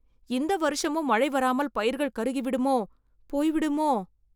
இந்த வருஷமும் மழை வராமல் பயிர்கள் கருகிவிடுமோ.. போய்விடுமோ!